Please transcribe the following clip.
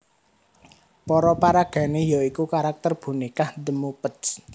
Para paragané ya iku karakter bonékah The Muppets